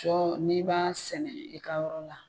Sɔ n'i b'a sɛnɛ i ka yɔrɔ la